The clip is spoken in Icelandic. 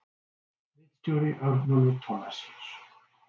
Ritstjóri Örnólfur Thorlacius.